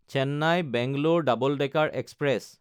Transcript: Chennai Bangalore double decker express